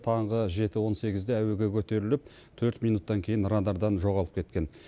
таңғы жеті он сегізде әуеге көтеріліп төрт минуттан кейін радардан жоғалып кеткен